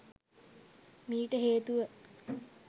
මීට හේතුව